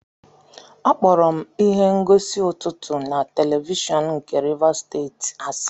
Akpọrọ m ihe ngosi ụtụtụ na televishọn nke Rivers Steeti asị.